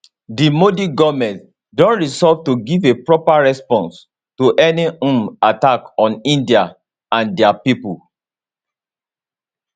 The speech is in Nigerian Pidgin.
di modi goment don resolve to give a proper response to any um attack on india and dia pipo